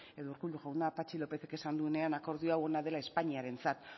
edo urkullu jauna patxi lópezek esan duenean akordio hau ona dela espainiarentzat